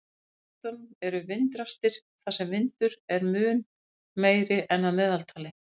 Í háloftunum eru vindrastir þar sem vindur er mun meiri en að meðaltali.